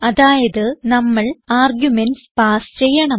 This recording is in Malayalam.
അതായത് നമ്മൾ ആർഗുമെന്റ്സ് പാസ് ചെയ്യണം